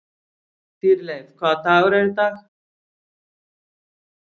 Dýrleif, hvaða dagur er í dag?